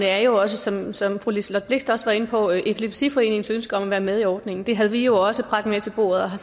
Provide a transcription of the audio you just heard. er jo også som som fru liselott blixt var inde på epilepsiforeningens ønske om at være med i ordningen det havde vi jo også bragt med til bordet og har